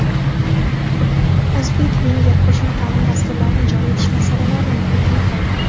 o‘zbek-venger qo‘shma taʼlim dasturlarini joriy etish masalalarini muhokama qildi.